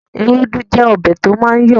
Ewédú jẹ́ ọbẹ̀ to máa ń yọ̀ọ̀